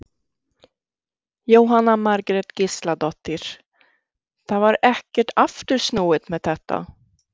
Jóhanna Margrét Gísladóttir: Það var ekkert aftur snúið með þetta?